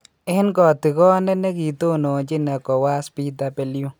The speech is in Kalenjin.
En katikoneet nekitononchin Ecowas, Bw .